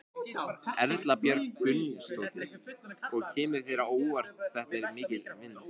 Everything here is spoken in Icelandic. Erla Björg Gunnarsdóttir: Og kemur þér á óvart hvað þetta er mikil vinna?